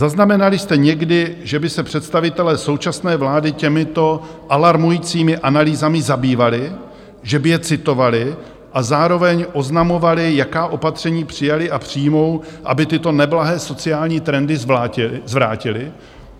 Zaznamenali jste někdy, že by se představitelé současné vlády těmito alarmujícími analýzami zabývali, že by je citovali a zároveň oznamovali, jaká opatření přijali a přijmou, aby tyto neblahé sociální trendy zvrátili?